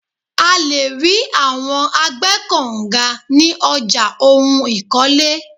À le ri awọn agbẹ́kọ̀nga ní ọjà ohun ìkọ́lé.